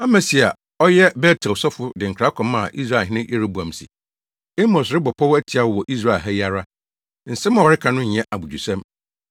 Amasia a ɔyɛ Bet-El sɔfo de nkra kɔmaa Israelhene Yeroboam se, “Amos rebɔ pɔw atia wo wɔ Israel ha yi ara! Nsɛm a ɔreka no nyɛ abodwosɛm.